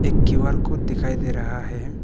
Q R code दिखाई दे रहा है।